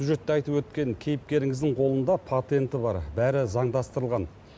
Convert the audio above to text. сюжетте айтып өткен кейіпкеріңіздің қолында патенті бар бәрі заңдастырылған